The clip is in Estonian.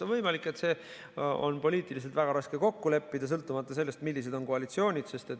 On võimalik, et poliitiliselt on väga raske kokku leppida, sõltumata sellest, millised on koalitsioonid.